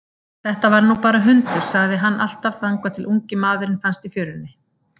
Þetta var nú bara hundur, sagði hann alltaf þangað til ungi maðurinn fannst í fjörunni.